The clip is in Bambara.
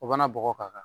O mana bɔgɔ k'a kan